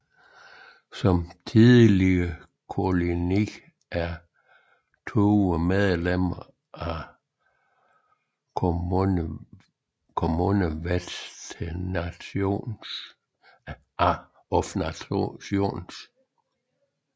Som tidligere koloni er Tuvalu medlem af Commonwealth of Nations